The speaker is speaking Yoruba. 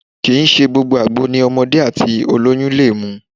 Kìí ṣe gbogbo àgbo ni ọmọdé àti ó lóyún lè mu.